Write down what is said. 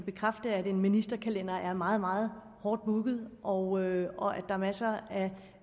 bekræfte at en ministerkalender er meget meget hårdt booket og og at der er masser af